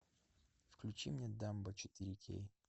включи мне дамбо четыре кей